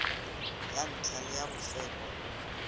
ya ntlha le ya bofelo